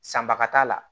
Sanbaga t'a la